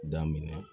Daminɛ